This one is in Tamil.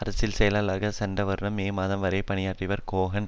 அரசில் செயலாளராக சென்ற வருடம் மே மாதம் வரை பணியாற்றியவர் கோஹன்